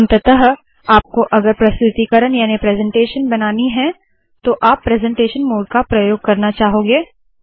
अंततः आपको आगरा प्रतुतिकरण याने प्रेसेंटेशन बनानी है तो आप प्रेसेंटेशन मोड का प्रयोग करना चाहोगे